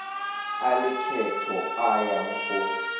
a lekgetho a yang go